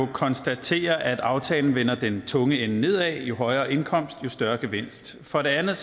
konstatere at aftalen vender den tunge ende nedad jo højere indkomst jo større gevinst for det andet